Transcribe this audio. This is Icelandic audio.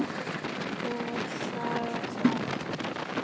Trúleg saga það!